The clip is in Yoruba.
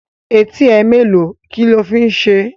Etí ẹ mẹ́ẹ́lo? Kílo fi ń ṣe?